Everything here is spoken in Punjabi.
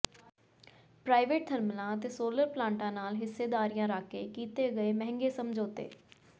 ਪ੍ਰਾਈਵੇਟ ਥਰਮਲਾਂ ਅਤੇ ਸੋਲਰ ਪਲਾਂਟਾ ਨਾਲ ਹਿੱਸੇਦਾਰੀਆਂ ਰੱਖ ਕੇ ਕੀਤੇ ਗਏ ਮਹਿੰਗੇ ਸਮਝੌਤੇ